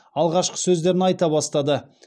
алғашқы сөздерін айта бастады